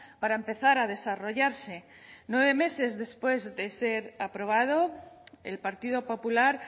para empezar a desarrollarse nueve meses después de ser aprobado el partido popular